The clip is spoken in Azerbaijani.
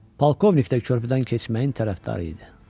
Polkovnik də körpüdən keçməyin tərəfdarı idi.